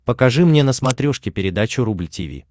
покажи мне на смотрешке передачу рубль ти ви